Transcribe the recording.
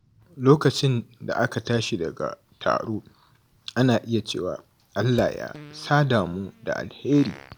Lokacin da aka tashi daga taro, ana iya cewa “Allah ya sada mu da alheri.”